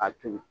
A to ye